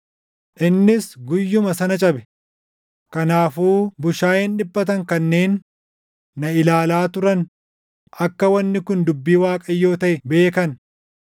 Innis guyyuma sana cabe; kanaafuu bushaayeen dhiphatan kanneen na ilaalaa turan akka wanni kun dubbii Waaqayyoo taʼe beekan.